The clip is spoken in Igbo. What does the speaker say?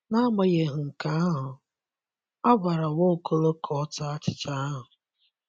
N’agbanyeghị nke ahụ, a gwara Nwaokolo ka ọta achịcha ahụ.